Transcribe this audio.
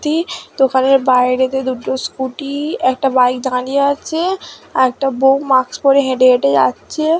তি দোকানের বায়রেতে দুটো স্কুটি একটা বাইক দাড়িয়ে আছে। আর একটা বউ মাস্ক পরে হেঁটে হেঁটে যাচ্ছে।